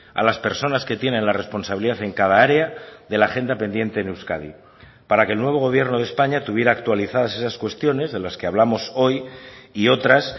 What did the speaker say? a las personas que tienen la responsabilidad en cada área de la agenda pendiente en euskadi para que el nuevo gobierno de españa tuviera actualizadas esas cuestiones de las que hablamos hoy y otras